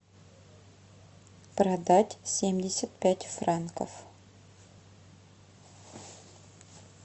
продать семьдесят пять франков